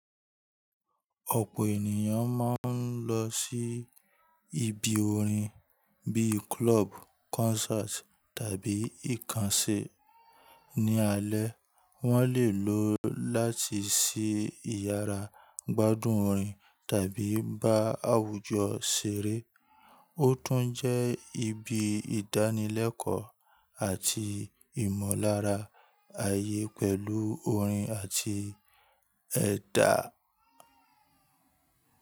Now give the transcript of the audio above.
Ọ̀pọ̀ ènìyàn máa ń lọ sí ibi orin bíi club, concert tàbí ìkànsé. Ní alẹ́ wọ́n lè lo láti ṣí ìyàrá gbádùn orin tàbí bá àwùjọ ṣeré. Ó tún jẹ́ ibi ìdánilẹ́kọ̀ọ́ àti ìmọ̀lára àyè pẹ̀lú orin àti ẹ̀dà.